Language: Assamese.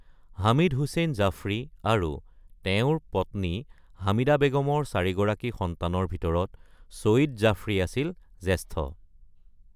হামিদ হুছেইন জাফৰী আৰু তেওঁৰ পত্নী হামিদা বেগমৰ চাৰিগৰাকী সন্তানৰ ভিতৰত চইদ জাফৰী আছিল জ্যেষ্ঠ।